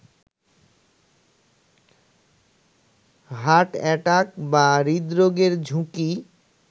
heart attack বা হৃদরোগের ঝুঁকি